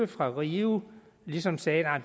fra rio ligesom sagde